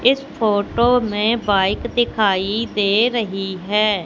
इस फोटो में बाइक दिखाई दे रही है।